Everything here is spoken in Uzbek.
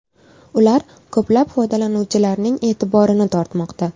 Ular ko‘plab foydalanuvchilarning e’tiborini tortmoqda.